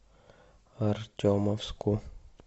артемовску